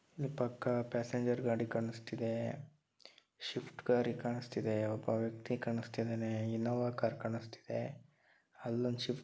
ಇಲ್ಲಿ ಪಕ್ಕ ಪ್ಯಾಸೆಂಜರ್ ಗಾಡಿ ಕಾಣಸ್ತಿದೆ ಶಿಫ್ಟ್ ಕಾರ್ ಕಾಣಸ್ತಿದೆ. ಒಬ್ಬ ವ್ಯಕ್ತಿ ಕಾಣಸ್ತಿದೆ. ಇನೋವಾ ಕಾರ್ ಕಾಣಸ್ತಿದೆ. ಅಲ್ಲಿ ಒಂದ ಶಿಫ್ಟ್ --